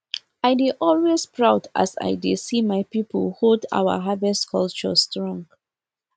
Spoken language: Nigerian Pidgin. i dey always proud as i dey see my people hold our harvest culture strong